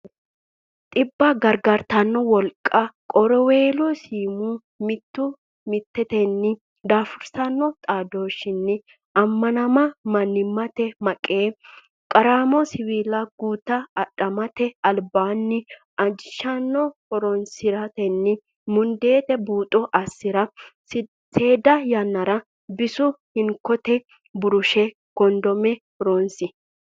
Dhibba gargartanno wolqa Qorowiweelo siimu Mittu mittetenni daafursanno xaadoshshinni ammanama Mannimmate maqee Qaraamma siwiilla guto Adhamate albaanni ajishanno horonsi ratenni mundeete buuxo assi ra Seeda yannara bisu Hinkote burushe Kondome horonsi.